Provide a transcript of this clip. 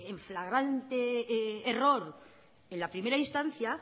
en flagrante error en la primera instancia